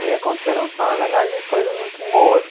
E aconteceram só, na verdade, coisas muito boas.